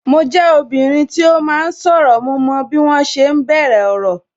Mo jẹ obìnrin tí ó máa ń sọ̀rọ̀, mo mọ bí wọn ṣe ń bẹ̀rẹ̀ ọ̀rọ̀